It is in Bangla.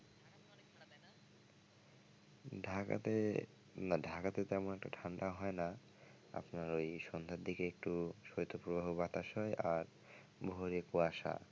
ঢাকাতে না ঢাকাতে তেমন একটা ঠাণ্ডা হয় না আপনার ওই সন্ধ্যার দিকে একটু শৈতপ্রবাহ বাতাস হয় আর ভোরে কুয়াশা ।